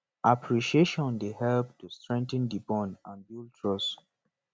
appreciatioin dey help to strengthen di bond and build trust